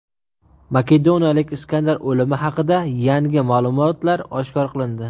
Makedoniyalik Iskandar o‘limi haqida yangi ma’lumotlar oshkor qilindi.